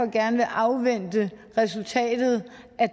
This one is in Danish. gerne vil afvente resultatet af